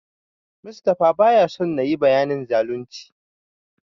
Mustapha baya son nayi bayanin zalunci.